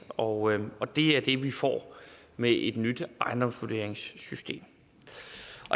og og det er det vi får med et nyt ejendomsvurderingssystem